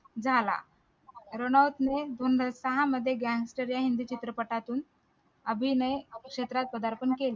झाला रणावत ने दोन हजार सहा मध्ये gangster या हिंदी चित्रपटातून अभिनय क्षेत्रात प्रधारपण केले